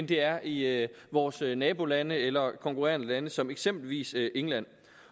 det er i vores nabolande eller konkurrerende lande som eksempelvis england